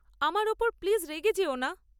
আমার ওপর প্লিজ রেগে যেও না।